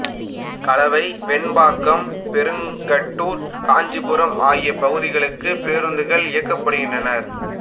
கலவை வெம்பாக்கம் பெருங்கட்டூர் காஞ்சிபுரம் ஆகிய பகுதிகளுக்கு பேருந்துகள் இயக்கப்படுகின்றன